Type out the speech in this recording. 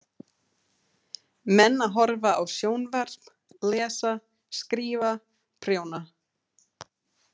Menn að horfa á sjónvarp, lesa, skrifa, prjóna.